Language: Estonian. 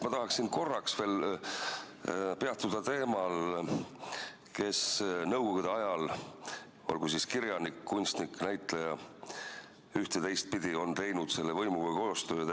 Ma tahaksin korraks veel peatuda teemal, kes nõukogude ajal – oli ta siis kirjanik, kunstnik, näitleja – üht- või teistpidi tegi võimuga koostööd.